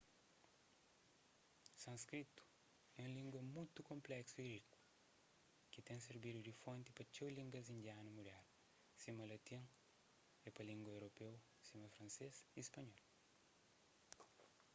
sânskritu é un língua mutu konpléksu y riku ki ten sirbidu di fonti pa txeu línguas indianu mudernu sima latin é pa língua europeu sima fransês y spanhol